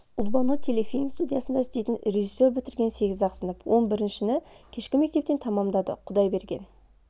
ұлбану телефильм студиясында істейтін режиссер бітірген сегіз-ақ сынып он біріншіні кешкі мектептен тамамдады құдай берген